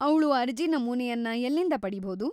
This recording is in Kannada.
ಅವ್ಳು ಅರ್ಜಿ ನಮೂನೆಯನ್ನ ಎಲ್ಲಿಂದ ಪಡೀಭೌದು?